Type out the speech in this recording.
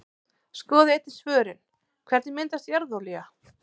Skoðið einnig svörin: Hvernig myndast jarðolía?